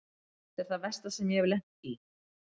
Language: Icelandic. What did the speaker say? Þetta er það versta sem ég hef lent í.